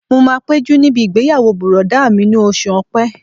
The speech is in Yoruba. Mo máa péjú níbi ìgbéyàwó bùrọ̀dá mi ní oṣù ọ̀pẹ